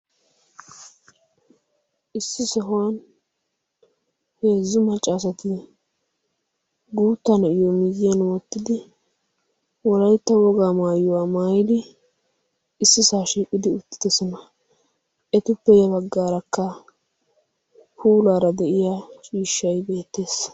Issi sohuwan heezzu macca asatti guutta na'yo miyyiyan woottidi wolaytta wogaa maayuwaa maayidi issi saa shiiqidi uttidosona. ettuppe ya baggaarakka puulaara de7iya ciishshay beettees.